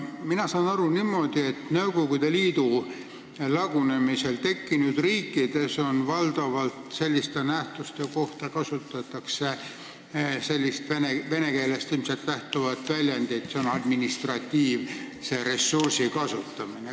Mina saan aru niimoodi, et Nõukogude Liidu lagunemisel tekkinud riikides kasutatakse selliste nähtuste kohta valdavalt sellist vene keelest lähtuvat väljendit nagu "administratiivse ressursi kasutamine".